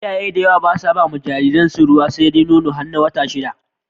Iyaye da yawa basa bawa jariran su ruwa sedai Nono, har wata shida